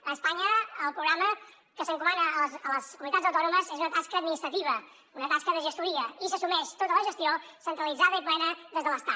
a espanya el programa que s’encomana a les comunitats autònomes és una tasca administrativa una tasca de gestoria i s’assumeix tota la gestió centralitzada i plena des de l’estat